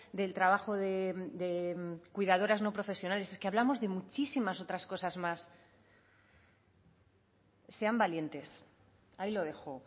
del trabajo de cuidadoras no profesionales es que hablamos de muchísimas otras cosas más sean valientes ahí lo dejo